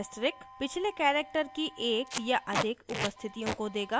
* asterisk पिछले character की एक या अधिक उपस्थितियों को देगा